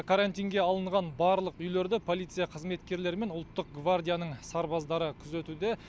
карантинге алынған барлық үйлерді полиция қызметкерлері мен ұлттық гвардияның сарбаздары күзетуде